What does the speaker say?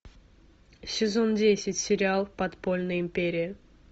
сезон десять сериал подпольная империя